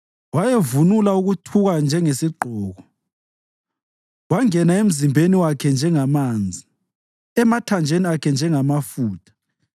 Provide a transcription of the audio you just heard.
Wayevunula ukuthuka njengesigqoko; kwangena emzimbeni wakhe njengamanzi, emathanjeni akhe njengamafutha.